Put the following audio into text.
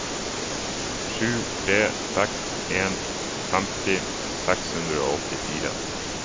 sju tre seks en femti seks hundre og åttifire